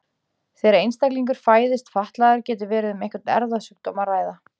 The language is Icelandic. þegar einstaklingur fæðist fatlaður getur verið um einhvern erfðasjúkdóm að ræða